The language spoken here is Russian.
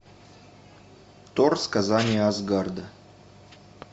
тор сказания асгарда